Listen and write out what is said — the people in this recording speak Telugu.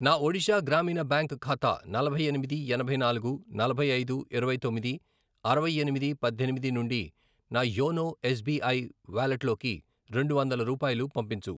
నా ఒడిషా గ్రామీణ బ్యాంక్ ఖాతా నలభై ఎనిమిది, ఎనభై నాలుగు, నలభై ఐదు, ఇరవై తొమ్మిది, అరవై ఎనిమిది, పద్దెనిమిది, నుండి నా యోనో ఎస్ బీ ఐ వాలెట్లోకి రెండు వందల రూపాయలు పంపించు.